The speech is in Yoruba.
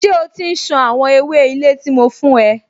Ṣé o ti ń ṣan àwọn ewé ilé tí mo fún ẹ?